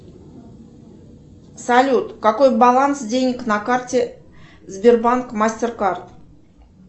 салют какой баланс денег на карте сбербанк мастеркард